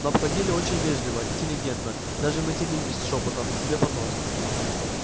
но обходили очень вежливо интеллигентно даже матерились шёпотом себе под нос